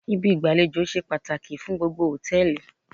Ibi ìgbàlejò ṣe pàtàkì fún gbogbo hòtẹ́ẹ̀lì